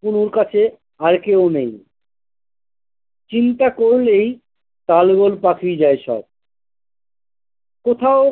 পুলুর কাছে আর কেউ নেই চিন্তা করলেই তালগোল পাকিয়ে যাই সব কোথাও।